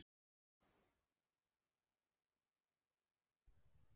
Kristján: Þannig að þeir voru hætt komnir?